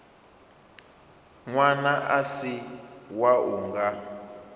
ṅwana a si wau nga